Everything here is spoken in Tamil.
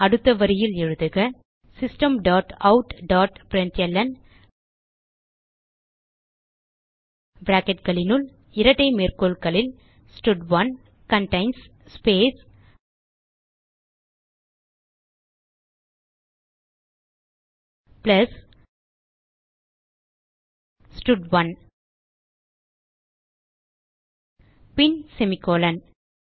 அடுத்த வரியில் எழுதுக system dot out dot println bracketகளினுள் இரட்டை மேற்கோள்களில் ஸ்டட்1 கன்டெயின்ஸ் ஸ்பேஸ் பிளஸ் ஸ்டட்1 பின் செமிகோலன்